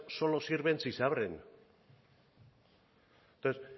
solo sirven si se abren entonces